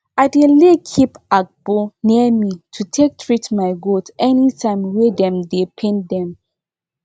i dey lay keep agbo near me to take treat my goat anytime wey dem dey pain dem